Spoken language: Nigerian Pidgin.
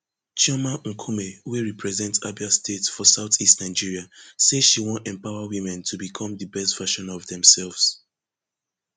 chioma nkumeh wey represent abia state for south east nigeria say she wan empower women to become di best version of themselves